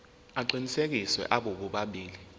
aqinisekisiwe abo bobabili